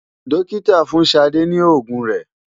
Dókítà fún Ṣadé ní òògùn rẹ̀.